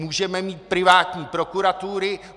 Můžeme mít privátní prokuratury.